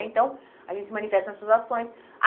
Então, a gente se manifesta nessas ações.